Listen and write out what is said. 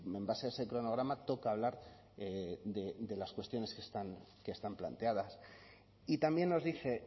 en base a ese cronograma toca hablar de las cuestiones que están planteadas y también nos dice